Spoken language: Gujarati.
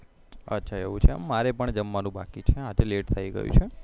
મારે પણ જમવાનું બાકી છે આજે late થા ગયું છે